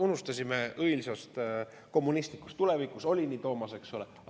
Unistasime õilsast kommunistlikust tulevikust – oli nii, Toomas, eks ole?